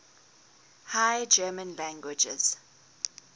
high german languages